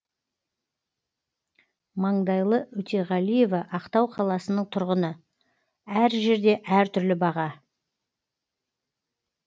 маңдайлы өтеғалиева ақтау қаласының тұрғыны әр жерде әр түрлі баға